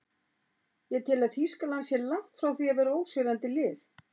Ég tel að Þýskaland sé langt frá því að vera ósigrandi lið.